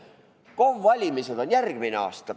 KOV-ide valimised on järgmine aasta.